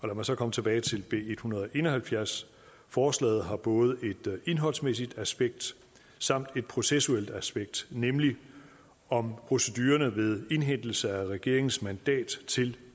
mig så komme tilbage til b en hundrede og en og halvfjerds forslaget har både et indholdsmæssigt aspekt samt et processuelt aspekt nemlig om procedurerne ved indhentelse af regeringens mandat til